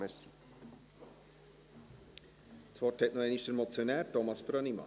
Das Wort hat noch einmal der Motionär, Thomas Brönnimann.